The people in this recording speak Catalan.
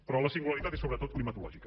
però la singularitat és sobretot climatològica